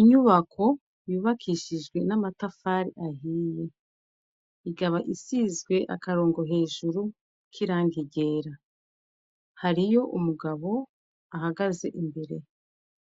Inyubako yubakishijwe n'amatafari ahiye ikaba isizwe akarongo hejuru k'irangi ryera. Hariyo umugabo ahagaze imbere